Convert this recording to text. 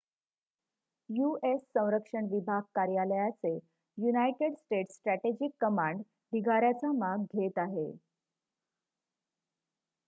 US. संरक्षण विभाग कार्यालयाचे युनाइटेड स्टेट्स स्ट्रॅटेजिक कमांड ढिगाऱ्याचा माग घेत आहे